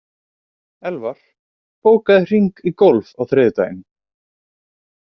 Elvar, bókaðu hring í golf á þriðjudaginn.